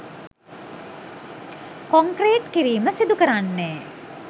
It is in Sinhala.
කොන්ක්‍රීට් කිරීම සිදුකරන්නේ